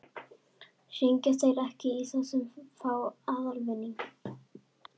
Hringja þeir ekki í þá sem fá aðalvinning?